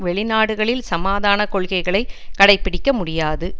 வெளி நாடுகளில் சமாதான கொள்கைகளை கடைபிடிக்க முடியாது